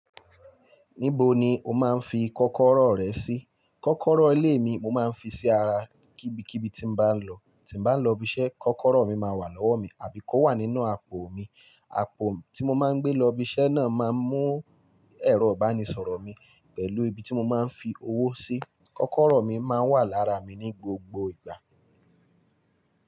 Níbo ni o máa ń fi kọ́kọ́rọ́ rẹ sí? Kọ́kọ́rọ́ ilé mi mo máa ń fi sí ara, kíbi kíbi tí n bá lọ. Tí n bá lọ ibi iṣẹ́ kọ́kọ́rọ́ mi máa wà lọ́wọ́ mi àbí kó wà nínú àpò mi. Àpò tí mo máa ń gbé lọ ibi iṣẹ́ náà máa mú ẹ̀rọ ìbánisọ̀rọ̀ mi pẹ̀lú ibi tí mo máa ń fi owó sí. Kọ́kọ́rọ́ mi máa wà lára mi ní gbogbo ìgbà.